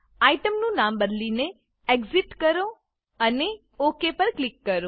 આઇટમનું નામ બદલીને એક્સિટ કરો અને ઓક પર ક્લિક કરો